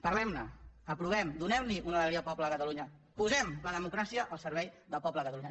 parlem ne aprovem la donem una alegria al poble de catalunya posem la democràcia al servei del poble de catalunya